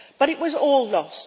But it was all lost.